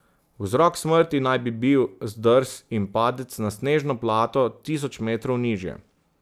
Vzrok smrti naj bi bil zdrs in padec na snežno plato tisoč metrov nižje.